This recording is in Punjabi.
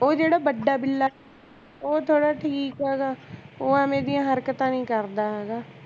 ਉਹ ਜਿਹੜਾ ਵੱਡਾ ਬਿੱਲਾ ਹੈਗਾ ਉਹ ਥੋੜਾ ਠੀਕ ਹੈਗਾ ਉਹ ਐਵੇਂ ਦੀਆਂ ਹਰਕਤਾਂ ਨਹੀਂ ਕਰਦਾ ਹੈਗਾ